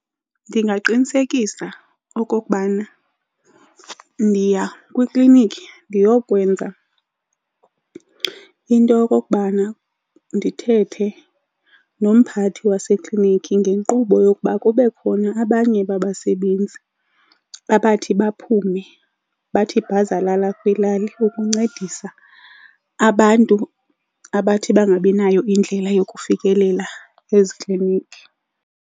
Ndingaqinisekisa okokubana ndiya kwiklinikhi ndiyokwenza into yokokubana ndithethe nomphathi wasekliniki ngenkqubo yokuba kube khona abanye babasebenzi abathi baphume bathi bhazalala kwilali ukuncedisa abantu abathi bangabinayo indlela yokufikelela eziklinikhi.